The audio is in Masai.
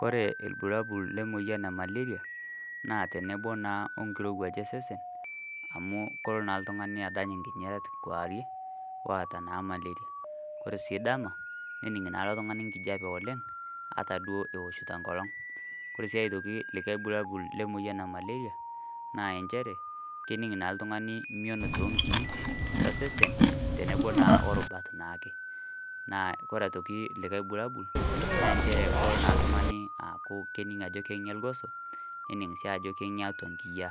Koree lbulabul lemoyian e malaria na tenebo na wenkirowuaj osesen amu kelo na oltungani adany nkingorat kewarie, oota si malaria, ore si dama nening na ilo tungani enkijape oleng ata duo ewoshito enkolong, ore si aitoki likae bulabul lemoyian e malaria na nchere kening na oltungani mion tonkirik osesen tenebo na orubat taake ore aitoki likae bulabul na nchere na kelo oltungani aaku kening ajo kenge irgoso nening si ajo kenge atua nkiyia